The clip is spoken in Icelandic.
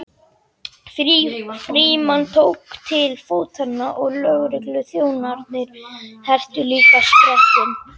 Frímann tók til fótanna og lögregluþjónarnir hertu líka sprettinn.